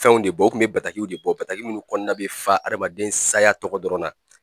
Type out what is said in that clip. Fɛnw de bɔ o kun bɛ batakiw de bɔ, bataki minnu kɔnɔna bɛ fa adamaden saya tɔgɔ dɔrɔn na.